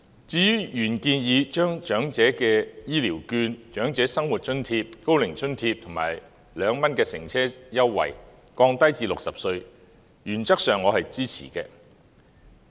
至於原議案建議將長者的醫療券、長者生活津貼、高齡津貼及 "2 元乘車優惠"的年齡門檻降低至60歲，原則上我是支持的。